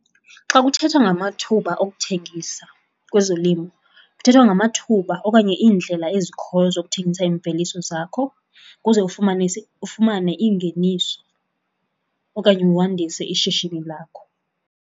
Xa kuthethwa ngamathuba okuthengisa kwezolimo kuthethwa ngamathuba okanye iindlela ezikhoyo zokuthengisa imveliso zakho ukuze ufumane ufumane iingeniso okanye wandise ishishini lakho.